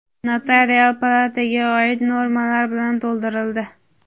notarial palataga oid normalar bilan to‘ldirildi.